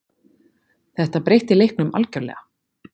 Þetta breytti leiknum algjörlega.